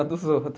A dos outro